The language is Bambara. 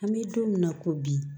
An bɛ don min na ko bi